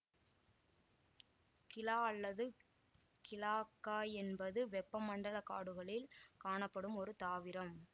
கிளா அல்லது கிலாக்காய் என்பது வெப்பமண்டல காடுகளில் காணப்படும் ஒரு தாவரம்